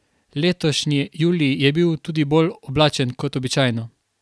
Letošnji julij je bil tudi bolj oblačen kot običajno.